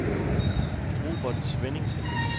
Robert Svenningsen